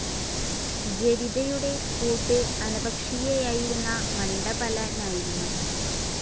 ജരിതയുടെ കൂട്ട് അനപക്ഷീയായിരുന്ന മണ്ഡപലനായിരുന്നു.